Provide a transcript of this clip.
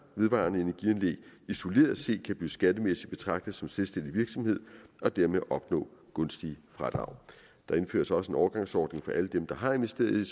vedvarende energianlæg isoleret set kan blive skattemæssigt betragtet som selvstændig virksomhed og dermed opnå gunstige fradrag der indføres også en overgangsordning for alle dem der har investeret i